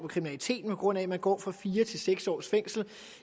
af kriminaliteten på grund af at man går fra fire til seks års fængsel